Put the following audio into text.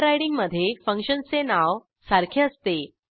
ओव्हररायडिंगमधे फंक्शनचे नाव सारखे असते